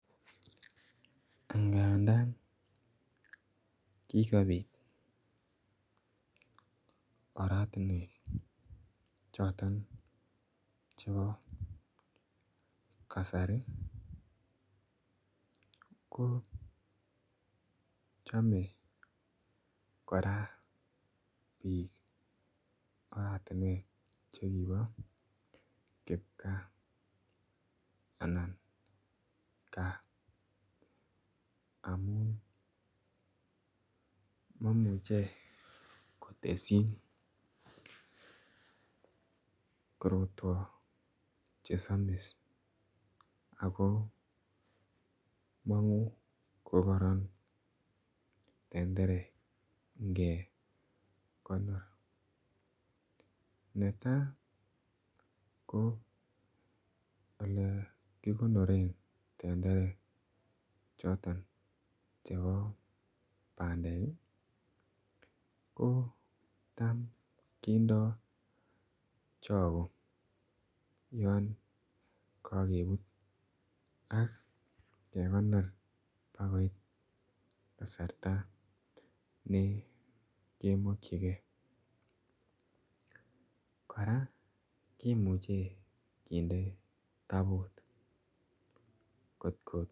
Ngandaan kikobiit oratinweek chotoon chebo kasari ii ko chame kora biik oratinweek che kiboo kipkaa anan kaa amuun maimuchei kotesyiin chesamis ako manguu ko kororon tenderek ingekonor ne tai ko ole kikonoreen tenderek chotoon bo pandeek ko taam kindaa chagoo yaan kakebuut ak kegonoor baak koit kasarta nekemakyigei kora kimuchei kindee tabuut kot ko.